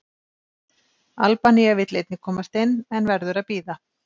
Albanía vill einnig komast inn, en verður að bíða.